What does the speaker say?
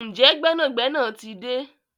Njé gbénàgbénà tí dé?